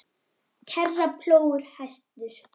kerra, plógur, hestur.